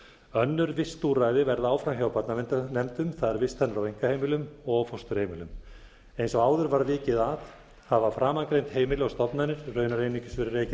önnur vistúrræði verða áfram hjá barnaverndarnefndum það er vistanir á einkaheimilum og fósturheimilum eins og áður var vikið að hafa framangreind heimili og stofnanir raunar